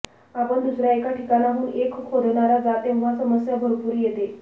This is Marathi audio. आपण दुसर्या एका ठिकाणाहून एक खोदणारा जा तेव्हा समस्या भरपूर येते